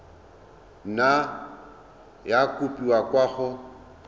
nna ya kopiwa kwa go